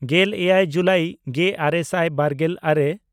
ᱜᱮᱞᱮᱭᱟᱭ ᱡᱩᱞᱟᱭ ᱜᱮᱼᱟᱨᱮ ᱥᱟᱭ ᱵᱟᱨᱜᱮᱞ ᱟᱨᱮ